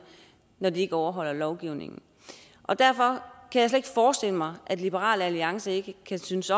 når de ikke overholder lovgivningen derfor kan ikke forestille mig at liberal alliance ikke kan synes